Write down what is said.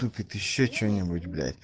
тут ведь ещё что-нибудь блять